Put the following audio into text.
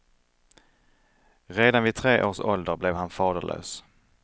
Redan vid tre års ålder blev han faderlös.